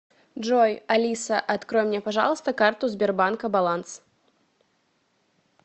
джой алиса открой мне пожалуйста карту сбербанка баланс